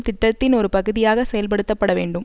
திட்டத்தின் ஒரு பகுதியாக செயல்படுத்தப்பட வேண்டும்